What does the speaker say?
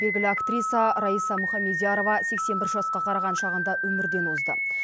белгілі актриса райса мухамедиярова сексен бір жасқа қараған шағында өмірден озды